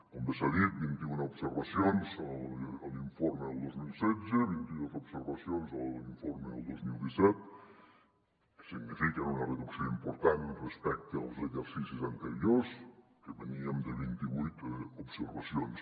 com bé s’ha dit vint i una observacions a l’informe del dos mil setze vint i dos observacions a l’informe del dos mil disset que signifiquen una reducció important respecte als exercicis anteriors que veníem de vint i vuit observacions